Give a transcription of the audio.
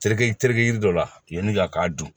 Terike terikɛ yiri dɔ la yen ka k'a dun